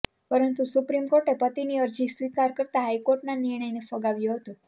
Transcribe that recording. પરંતુ સુપ્રીમ કોર્ટે પતિની અરજી સ્વીકાર કરતા હાઈકોર્ટના નિર્ણયને ફગાવ્યો હતો